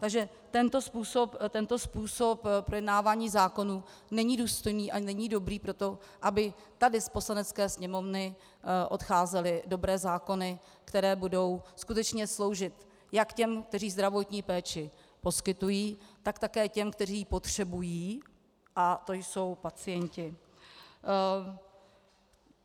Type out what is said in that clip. Takže tento způsob projednávání zákonů není důstojný a není dobrý pro to, aby tady z Poslanecké sněmovny odcházely dobré zákony, které budou skutečně sloužit jak těm, kteří zdravotní péči poskytují, tak také těm, kteří ji potřebují, a to jsou pacienti.